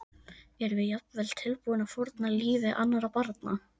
Erum við jafnvel tilbúin að fórna lífi annarra barna?